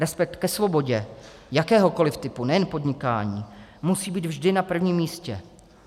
Respekt ke svobodě jakéhokoliv typu, nejen podnikání, musí být vždy na prvním místě.